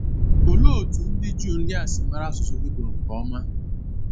Ọlee otú ndị Juu ndị a si mara asụsụ Hibru nke ọma?